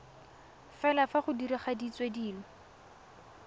fela fa go diragaditswe dilo